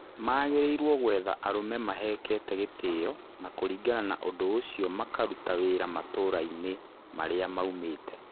Magĩrĩirwo gwetha arũme mahekeete gĩtĩo na kũringana na ũndũ ũcio makaruta wĩra matũra-inĩ maria maumĩte.